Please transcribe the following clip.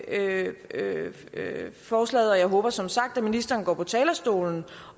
ikke forslaget og jeg håber som sagt at ministeren går på talerstolen